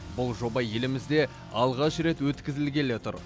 бұл жоба елімізде алғаш рет өткізілгелі тұр